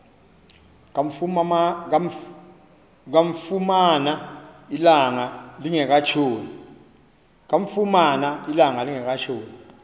kamfumana ilanga lingekatshoni